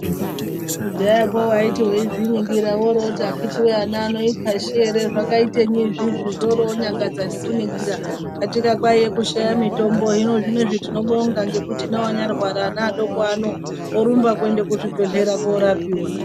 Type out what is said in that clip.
Kudaya ko waiti weizviningira woroti wakiti we wana wano ikwaashi ere zvakaitenyi izvizvi zvoronyangadza nekuningira katika kwaiya kushaya mitombo hino zvinozvi tinobongangekuti veanya rwara ana adoko ano orumba kuenda kuzvibhedhlera korapiwa .